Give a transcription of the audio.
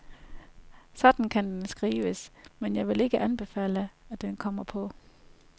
Sådan kan den skrives, men jeg vil ikke anbefale, at den kommer på.